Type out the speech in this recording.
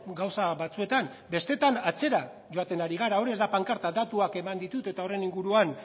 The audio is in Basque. gauza batzuetan bestetan atzera joaten ari gara hor ez da pankarta datuak eman ditut eta horren inguruan